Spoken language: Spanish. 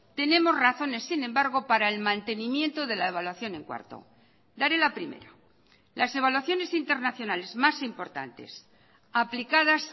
tenemos razones sin embargo para el mantenimiento de la evaluación en cuarto daré la primera las evaluaciones internacionales más importantes aplicadas